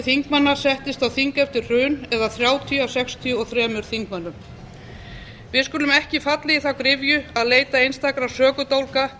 þingmanna settist á þing eftir hrun eða þrjátíu af sextíu og þremur þingmönnum við skulum ekki falla í þá gryfju að leita einstakra sökudólga